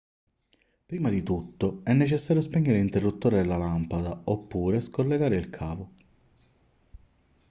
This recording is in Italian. prima di tutto è necessario spegnere l'interruttore della lampada oppure scollegare il cavo